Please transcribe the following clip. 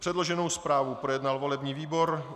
Předloženou zprávu projednal volební výbor.